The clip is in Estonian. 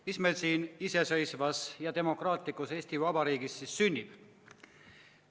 Mis meil siin iseseisvas ja demokraatlikus Eesti Vabariigis siis sünnib?